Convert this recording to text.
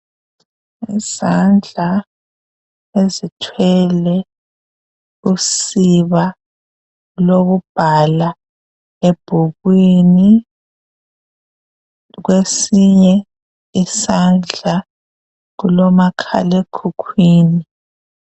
Isandla esithwele usiba lokubhala ebhukwini. Kwesinye isandla kulomakhalekhukhwini.